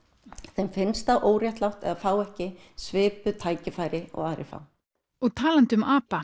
þeim finnst það óréttlátt að fá ekki svipuð tækifæri og aðrir fá og talandi um apa